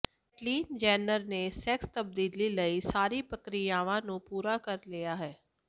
Caitlyn Jenner ਨੇ sex ਤਬਦੀਲੀ ਲਈ ਸਾਰੀਆਂ ਪ੍ਰਕ੍ਰਿਆਵਾਂ ਨੂੰ ਪੂਰਾ ਕਰ ਲਿਆ ਹੈ